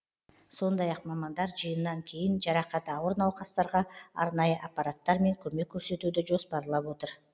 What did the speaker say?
сондай ақ мамандар жиыннан кейін жарақаты ауыр науқастарға арнайы аппараттармен көмек көрсетуді жоспарлап отыр